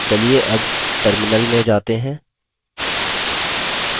चलिए अब terminal में जाते हैं